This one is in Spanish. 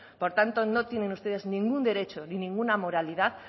por tanto no tienen ustedes ningún derecho ni ninguna moralidad